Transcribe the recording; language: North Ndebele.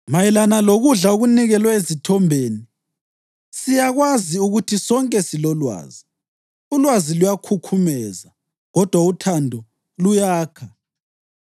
Mayelana lokudla okunikelwe ezithombeni: Siyakwazi ukuthi sonke silolwazi. Ulwazi luyakhukhumeza, kodwa uthando luyakha.